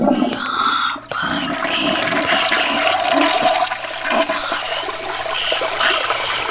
यहां पर एक पीले रंग की इमारत बनी हुई है।